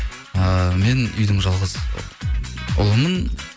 ыыы мен үйдің жалғыз ұлымын